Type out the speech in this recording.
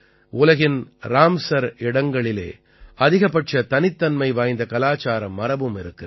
உலகின் ராம்ஸர் இடங்களிலே அதிகபட்ச தனித்தன்மை வாய்ந்த கலாச்சார மரபும் இருக்கிறது